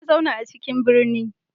Na zauna a cikin birni